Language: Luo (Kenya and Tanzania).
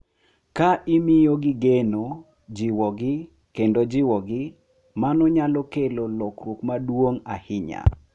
Ka imiyogi geno, jiwogi, kendo jiwogi, mano nyalo kelo lokruok maduong’ ahinya.